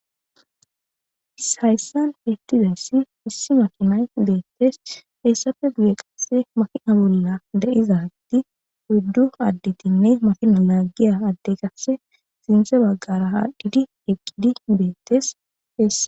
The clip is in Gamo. shayssan fittidessi issi makinay deettes heessafe guye qasse makina bolla da7iza tti huddu additinne makina laaggiya adde qasse sinse baggara ha dhidi eqqidi beettes heessa